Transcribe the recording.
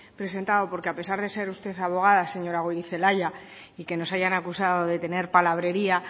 presentado porque a pesar de ser usted abogada señora goirizelaia y que nos hayan acusado de tener palabrería